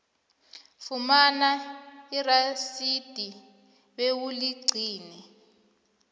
fumana irasidi bewuligcine